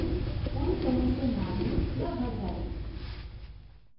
c पूरी तरह से नाभि न भर जाय